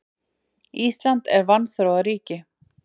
Ísland er vanþróað ríki.